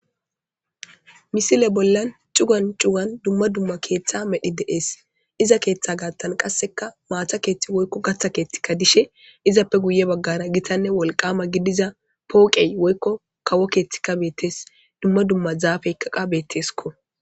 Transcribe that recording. Misile bollan cugan cugan dumma dumma keetha medhi de'ees. Iza keetha gaathani maata keethi woyko gatta keethika dishe,izappe guye baggara gitanne wolqama gidiza pooqey woyko kawo keethika beetees. Dumma dumma zaafeyka qasse beeteesiko.